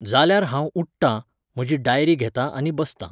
जाल्यार हांव उठ्ठां, म्हजी डायरी घेतां आनी बसतां.